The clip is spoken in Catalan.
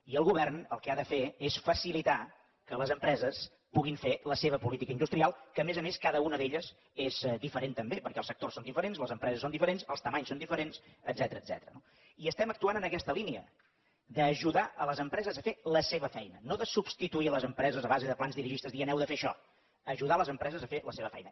i el govern el que ha de fer és facilitar que les empreses puguin fer la seva política industrial que a més a més cada una d’elles és diferent també perquè els sectors són diferents les empreses són diferents les mides són diferents etcètera no i estem actuant en aquesta línia d’ajudar les empreses a fer la seva feina no de substituir les empreses a base de plans dirigistes dient heu de fer això ajudar les empreses a fer la seva feina